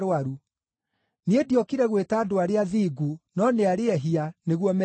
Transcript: Niĩ ndiokire gwĩta andũ arĩa athingu, no nĩ arĩa ehia, nĩguo merire.”